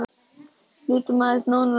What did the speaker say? Lítum aðeins nánar á málið.